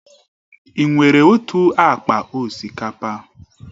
Ị nwere otu akpa osikapa?